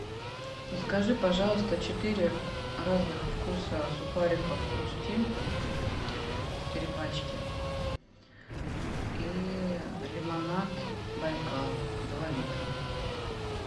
закажи пожалуйста четыре разных вкуса сухариков хрустим четыре пачки и лимонад байкал два литра